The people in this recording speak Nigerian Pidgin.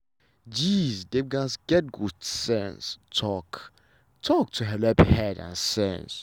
gees dem gatz get good sense talk-talk to helep head and sense.